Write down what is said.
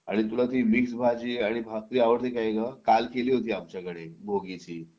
आणि तुला ती मिक्स भाजी आणि भाकरी आवडते काय ग काल केली होती आमच्याकडे भोगीची